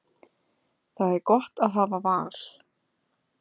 Það er gott að hafa val.